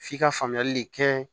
F'i ka faamuyali de kɛ